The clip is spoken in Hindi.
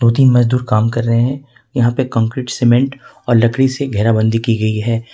दो तीन मजदूर काम कर रहे हैं यहां पे कंक्रीट सीमेंट और लकड़ी से घेरा बंदी की गई है।